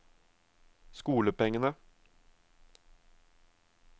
skolepengene